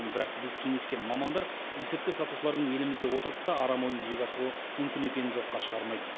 бірақ біз кеңескен мамандар есірткі сатушылардың елімізде отырып та арам ойын жүзеге асыруы мүмкін екенін жоққа шығармайды